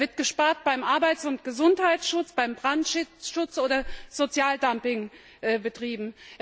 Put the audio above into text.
Da wird gespart beim Arbeits und Gesundheitsschutz, beim Brandschutz, oder es wird Sozialdumping betrieben.